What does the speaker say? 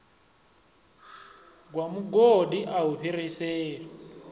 gwa mugodi a i fhiriselwi